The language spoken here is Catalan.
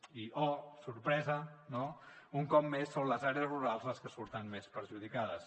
i oh sorpresa no un cop més són les àrees rurals les que surten més perjudicades